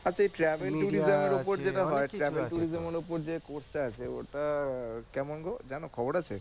আচ্ছা এই এর উপর যেটা হয় এর উপর যে টা আছে ওটা কেমন গো? জান খবর আছে?